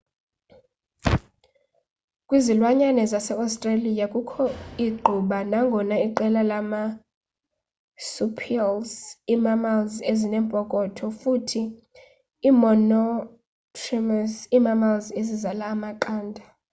kwizilwanyane zase-australia kukho igquba nangona iqela leemarsupials ii-mammals ezinempokotho futhi iimonotremes ii-mammals ezizala amaqanda